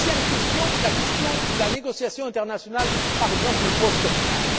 Deuxième question la question de la négociation internationale, par exemple l'après Copenhague.